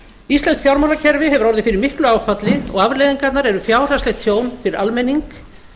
íslenskt fjármálakerfi hefur orðið fyrir miklu áfalli og afleiðingarnar eru fjárhagslegt tjón fyrir almenning